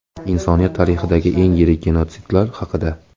Insoniyat tarixidagi eng yirik genotsidlar haqida.